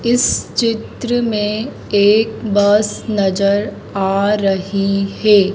इस चित्र में एक बस नजर आ रही है।